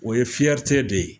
O ye de ye.